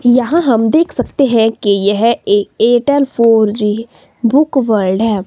यहां हम देख सकते हैं कि यह a Airtel four G book world है।